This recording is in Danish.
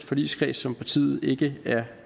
forligskreds som partiet ikke er